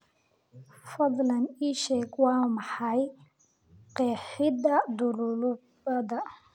fadlan ii sheeg waa maxay qeexida dhululubada